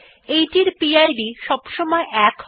এইটির পিড সবসময় ১ হয়